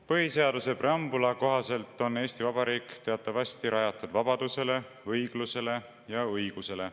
Põhiseaduse preambuli kohaselt on Eesti Vabariik teatavasti rajatud vabadusele, õiglusele ja õigusele.